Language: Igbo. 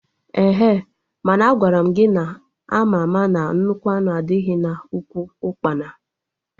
Ehe! Mana Agwaram gị na ama ama na nnukwu anụ adịghị na ụkwụ ukpana!